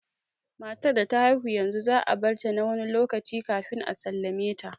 Matar da ta haihu yanzu za a barta na wani lokaci kafin a sallame ta